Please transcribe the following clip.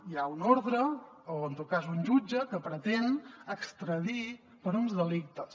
hi ha una ordre o en tot cas un jutge que pretén extradir per uns delictes